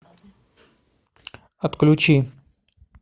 отключи